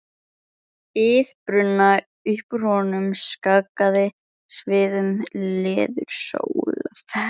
ið brunna, upp úr honum skagaði sviðinn leðursófi.